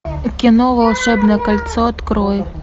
кино волшебное кольцо открой